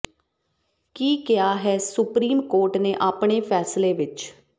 ਕੀ ਕਿਹਾ ਹੈ supreme court ਨੇ ਆਪਣੇ ਫ਼ੈਸਲੇ ਵਿੱਚ